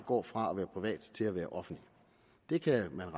gå fra at være privat til at være offentlig det kan